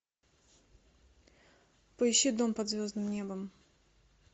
поищи дом под звездным небом